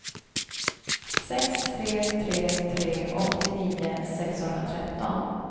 sex tre tre tre åttionio sexhundratretton